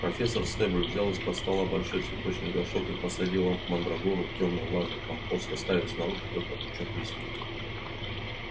профессор стебль взял из-под стола большой цветочный горшок и посадила мандрагору в тёмный влажный компост оставив снаружи только пучок листьев